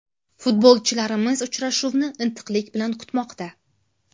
Futbolchilarimiz uchrashuvni intiqlik bilan kutmoqda.